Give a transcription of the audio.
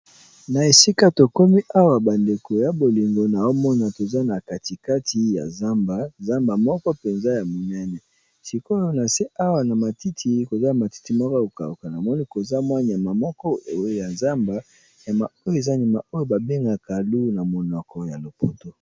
Na esika tokomi awa bandeko ya bolingo na omona toza na katikati ya zamba zamba moko mpenza ya monene sikoyo na se awa na matiti koza matiti moko kokauka namoni koza mwa nyama moko ewe ya zamba nyama oyo eza ndima oyo babengaka lou na monoko ya lopoto.